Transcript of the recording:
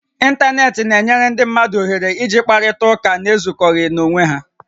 Intanetị na-enyere ndị mmadụ iji kparịta ụka na-ezukọghị na-onwé ha